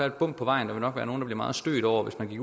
et bump på vejen og nogle blive meget stødt over at vi